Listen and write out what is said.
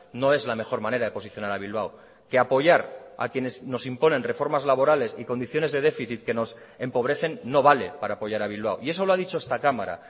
no es la mejor manera de posicionar a bilbao que apoyar a quienes nos imponen reformas laborales y condiciones de déficit que nos empobrecen no vale para apoyar a bilbao y eso lo ha dicho esta cámara